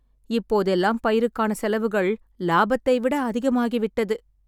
இப்போதெல்லாம் பயிருக்கான செலவுகள் லாபத்தை விட அதிகமாகிவிட்டது